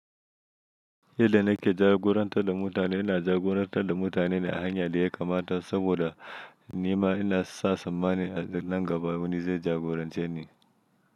Yadda nake jagorantar da mutane, ina jagorantar da mutane ne a hanya da ya kamata saboda ni ma ina sa tsammani a nan gaba wani zai jagorance ni.